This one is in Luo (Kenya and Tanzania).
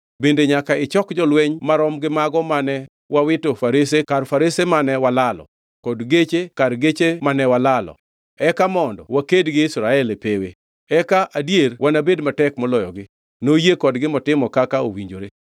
Bende nyaka ichok jolweny marom gi mago mane wawito farese kar farese mane walalo kod geche kar geche mane walalo eka mondo waked gi Israel e pewe. Eka adier wanabed matek moloyogi.” Noyie kodgi motimo kaka owinjore.